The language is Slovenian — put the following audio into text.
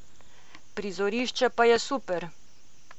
Prizorišče pa je super.